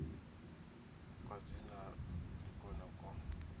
kwa dzina ndi kwone kwo